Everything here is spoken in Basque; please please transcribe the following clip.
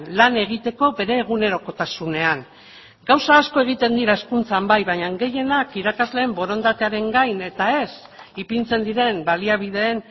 lan egiteko bere egunerokotasunean gauza asko egiten dira hezkuntzan bai baina gehienak irakasleen borondatearen gain eta ez ipintzen diren baliabideen